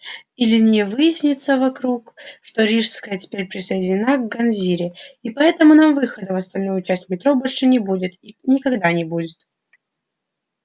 или не выяснится вдруг что рижская теперь присоединена к ганзе и поэтому нам выхода в остальную часть метро больше нет и никогда не будет